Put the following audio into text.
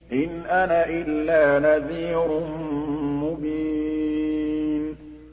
إِنْ أَنَا إِلَّا نَذِيرٌ مُّبِينٌ